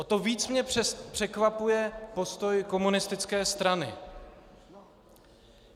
O to víc mě překvapuje postoj komunistické strany.